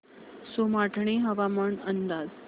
सोमाटणे हवामान अंदाज